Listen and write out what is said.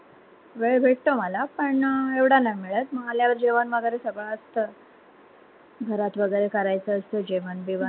वेळ भेटतो मला पण एवढा नाय मिळत म आल्यावर जेवण वगैरे सगळं असत घरात वगैरे करायच असत जेवण बिवन